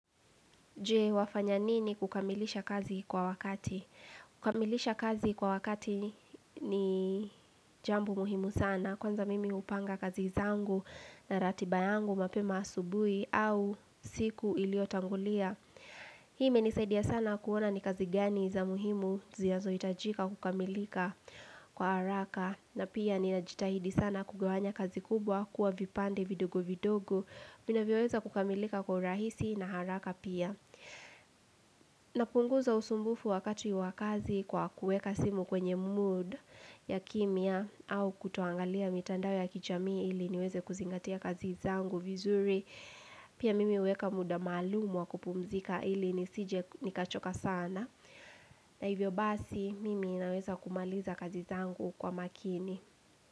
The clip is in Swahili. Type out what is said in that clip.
Jee wafanya nini kukamilisha kazi kwa wakati? Kukamilisha kazi kwa wakati ni jambu muhimu sana. Kwanza mimi upanga kazi zangu na ratiba yangu mapema asubui au siku iliotangulia. Hii imenisaidia sana kuona ni kazi gani za muhimu zinazo hitajika kukamilika kwa haraka. Na pia ninajitahidi sana kugawanya kazi kubwa kuwa vipande vidogo vidogo. Zinavyoweza kukamilika kwa urahisi na haraka pia. Napunguza usumbufu wakati wa kazi kwa kuweka simu kwenye mood ya kimya au kutoangalia mitandao ya kichamii ili niweze kuzingatia kazi zangu vizuri. Pia mimi huweka muda maalumu wa kupumzika ili nisije nikachoka sana. Na hivyo basi mimi naweza kumaliza kazi zangu kwa makini.